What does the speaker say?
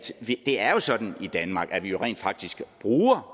det jo er sådan i danmark at vi rent faktisk bruger